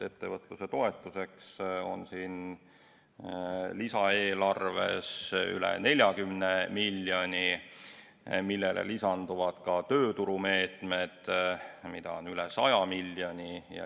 Ettevõtluse toetuseks on lisaeelarves üle 40 miljoni, millele lisanduvad ka tööturumeetmed, mida on üle 100 miljoni.